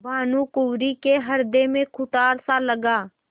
भानुकुँवरि के हृदय में कुठारसा लगा